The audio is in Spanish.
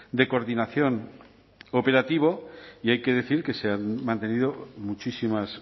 de coordinación operativo y hay que decir que se han mantenido muchísimas